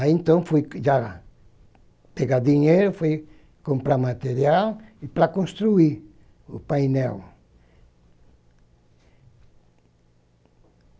Aí então fui já pegar dinheiro, fui comprar material para construir o painel.